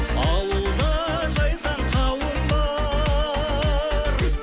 ауылда жайсаң қауым бар